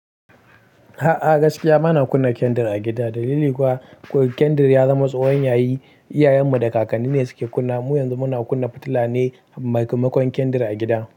A'a, gaskiya bana kunna kandar a gida. Dalili kuwa kandar ya zama tsohon yayi, iyayenmu da kakanni ne suke kunna. Mu yanzu muna kunna fitila ne maimakon kandar a gida.